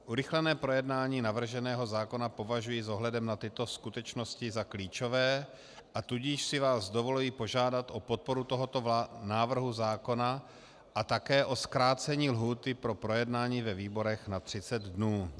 Urychlené projednání navrženého zákona považuji s ohledem na tyto skutečnosti za klíčové, a tudíž si vás dovoluji požádat o podporu tohoto návrhu zákona a také o zkrácení lhůty pro projednání ve výborech na 30 dnů.